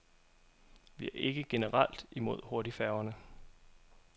Vi er ikke generelt imod hurtigfærgerne.